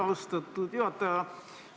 Austatud juhataja!